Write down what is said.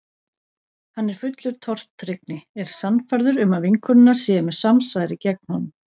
Hann er fullur tortryggni, er sannfærður um að vinkonurnar séu með samsæri gegn honum.